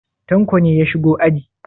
Tanko ne ya shigo aji?